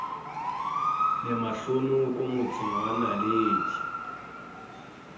le mahlonoko motseng wa naledi